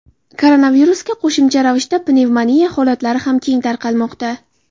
Koronavirusga qo‘shimcha ravishda pnevmoniya holatlari ham keng tarqalmoqda .